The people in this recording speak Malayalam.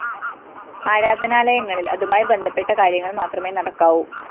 ആരാധനാലയങ്ങളില്‍ അതുമായി ബന്ധപ്പെട്ട കാര്യങ്ങള്‍ മാത്രമേ നടക്കാവൂ